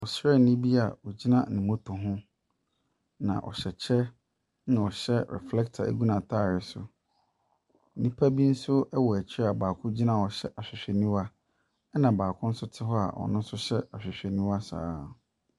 Ɔsrani bi ogyina ne moto ho, na ɔhyɛ yɛ na ɔhyɛ reflector gu n’ataare so. Nnipa bi so wɔ akyi a baako gyina hɔ hyɛ ahwehwɛniwa na baako nso te hɔ a ɔno nso hyɛ ahwehwɛniwa saa.